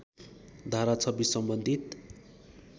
धारा २६ सम्बन्धित